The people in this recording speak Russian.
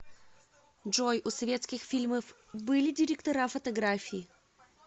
джой у советских фильмов были директора фотографии